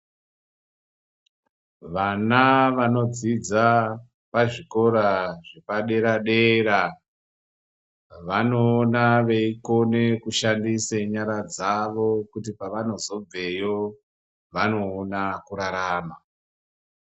Vana vanodzidza pazvikora zvepadera-dere, vanoona veikone kushandisa nyara dzavo. Kuti pavanozobveyo vanoona kurarama.